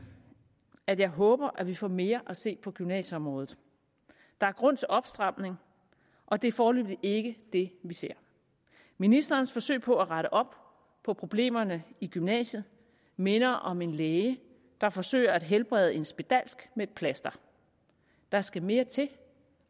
at jeg håber at vi får mere at se på gymnasieområdet der er grund til opstramning og det er foreløbig ikke det vi ser ministerens forsøg på at rette op på problemerne i gymnasiet minder om en læge der forsøger at helbrede en spedalsk med et plaster der skal mere til